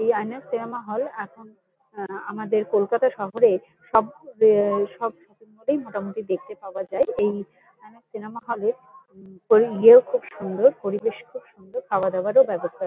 এই INOX cinema hall এখন আ আমাদের কলকাতা শহরের সব আ সব শপিং মল এই মোটামুটি দেখতে পাওয়া যায়। এই আইনক্স সিনেমা হল এ ওই ইয়ে খুব সুন্দর পরিবেশ খুব সুন্দর। খাওয়াদাওয়ারও ব্যবস্থা--